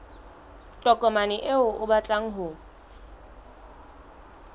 tokomane eo o batlang ho